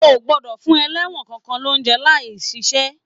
O o gbọdọ fún ẹlẹwọn kankan l'ounjẹ láì ṣiṣẹ!